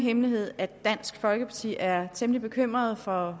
hemmelighed at dansk folkeparti er temmelig bekymret for